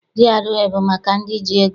GRA abụ maka ndị ji ego?